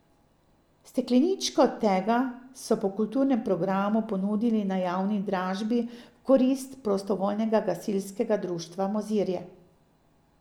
Stekleničko tega so po kulturnem programu ponudili na javni dražbi v korist Prostovoljnega gasilskega društva Mozirje.